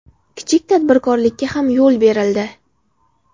Kichik tadbirkorlikka ham yo‘l berildi”.